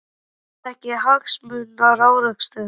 Er það ekki hagsmunaárekstur?